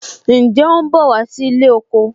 Ǹjẹ́ o ń bọ̀ wá sí ilé oko